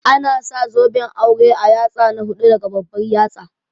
Ana sa zoben aure a yatsa na hudu daga babbar yatsa